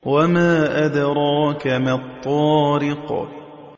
وَمَا أَدْرَاكَ مَا الطَّارِقُ